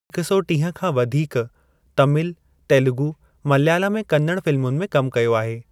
उन्हनि हिकु सौ टीह खां वधीक तमिल, तेलुगु, मलयालम ऐं कन्नड़ फ़िल्मुनि में कम कयो आहे।